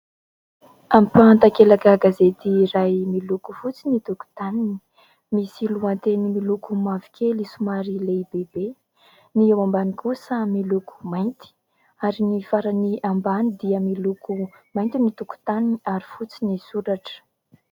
Ampahan-takelaka gazety iray miloko fotsy ny tokotaniny. Misy lohateny miloko mavokely somary lehibe be, ny eo ambany kosa miloko mainty ary ny farany ambany dia miloko mainty ny tokotaniny ary fotsy ny soratra.